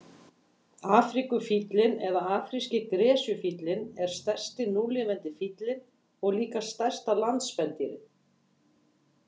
Afríkufíllinn eða afríski gresjufíllinn er stærsti núlifandi fíllinn og líka stærsta landspendýrið.